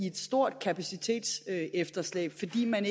et stort kapacitetsefterslæb fordi man